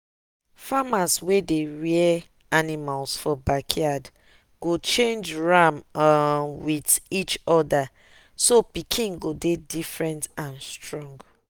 farmers wey dey rear animal for back yard go change ram um with each other so pikin go dey different and strong.